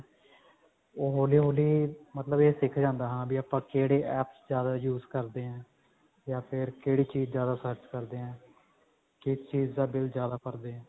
ਉਹ ਹੋਲੀ ਹੋਲੀ ਮਤਲਬ ਇਹ ਸਿੱਖ ਜਾਂਦਾ ਹਾਂ ਵੀ ਆਪਾਂ ਕਿਹੜੇ apps ਜ਼ਿਆਦਾ use ਕਰਦੇ ਹਾਂ ਯਾ ਫ਼ੇਰ ਕਿਹੜੀ ਚੀਜ਼ ਜ਼ਿਆਦਾ search ਕਰਦੇ ਹਾਂ ਕਿਸ ਚੀਜ਼ ਦਾ ਬਿਲ ਜ਼ਿਆਦਾ ਭਰਦੇ ਹਾਂ